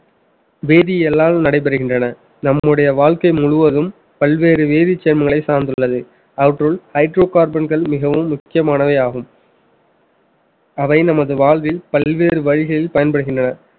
வேதியியலால் நடைபெறுகின்றன நம்முடைய வாழ்க்கை முழுவதும் பல்வேறு வேதிச் சேர்மங்களை சார்ந்துள்ளது அவற்றுள் hydrocarbon கள் மிகவும் முக்கியமானவையாகும் அவை நமது வாழ்வில் பல்வேறு வழிகளில் பயன்படுகின்றன